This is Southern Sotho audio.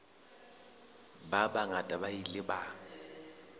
ba bangata ba ile ba